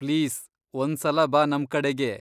Please! ಒಂದ್ಸಲ ಬಾ ನಮ್ಕಡೆಗೆ.